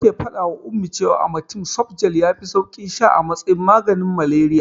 Nake faɗawa Ummi cewa amatem softgel yafi saukin sha a matsayin maganin malaria.